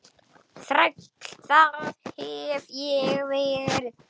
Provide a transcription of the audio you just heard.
Þræll, það hef ég verið.